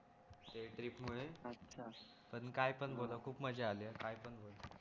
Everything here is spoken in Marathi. या ट्रिप मुळे आच्छा पण काय पण बोल हा खूप मजा अली हा काय पण बोल